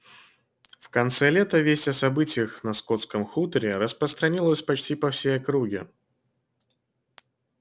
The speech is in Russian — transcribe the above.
в конце лета весть о событиях на скотском хуторе распространилась почти по всей округе